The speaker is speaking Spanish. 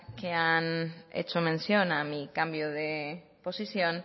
que han hecho mención a mi cambio de posición